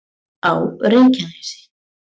á reykjanesi